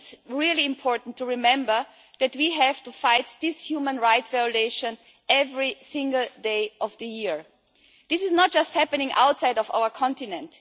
it is important to remember that we have to fight this human rights violation every single day of the year. This is not just happening outside our continent.